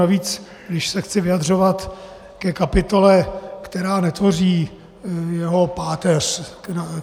Navíc když se chci vyjadřovat ke kapitole, která netvoří jeho páteř.